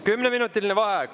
Kümneminutiline vaheaeg.